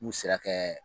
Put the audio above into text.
N'u sera kɛ